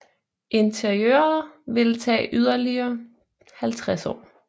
Interiøret ville tage yderligere 50 år